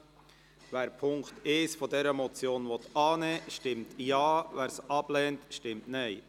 Wer den Punkt 1 der Motion annehmen will, stimmt Ja, wer dies ablehnt, stimmt Nein.